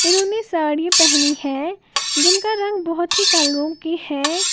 जिन्होंने ने साड़ी पहनी है जिनका रंग बहुत ही कलरों के है।